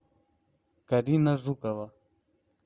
карина жукова